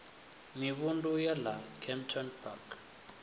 mivhundu ya ḽa kempton park